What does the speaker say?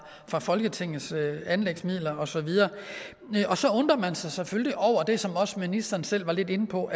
fra folketingets anlægsmidler og så videre og så undrer man sig selvfølgelig over det som også ministeren selv var lidt inde på